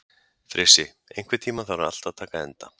Frissi, einhvern tímann þarf allt að taka enda.